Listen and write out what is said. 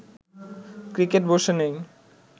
cricket বসে নেই